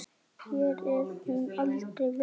Hér er hún aldrei veik.